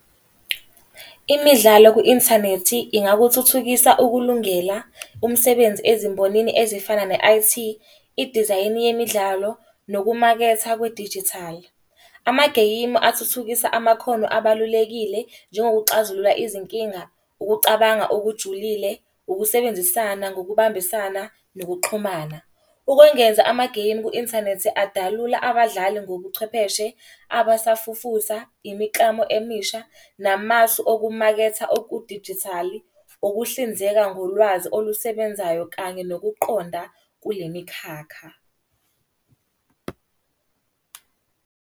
Imidlalo ku-inthanethi ingakuthuthukisa ukulungela umsebenzi ezimbonini ezifana ne-I_T, idizayini yemidlalo, nokumaketha kwedijithali. Amageyimu athuthukisa amakhono abalulekile, njengokuxazulula izinkinga, ukucabanga okujulile, ukusebenzisana ngokubambisana, nokuxhumana. Ukwengeza amageyimu ku-inthanethi adalula abadlali ngobuchwepheshe, abasafufusa, imiklamo emisha namasu okumaketha okudijithali. Ukuhlinzeka ngolwazi olusebenzayo kanye nokuqonda kule mikhakha.